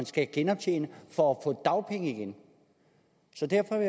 skal genoptjene for at få dagpenge igen så derfor